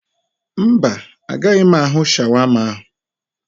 Mba, o gaghị ahụ shawama ahụ.